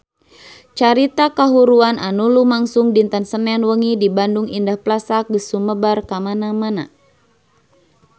Carita kahuruan anu lumangsung dinten Senen wengi di Bandung Indah Plaza geus sumebar kamana-mana